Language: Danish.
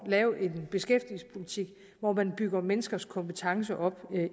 lave en beskæftigelsespolitik hvor man bygger menneskers kompetencer op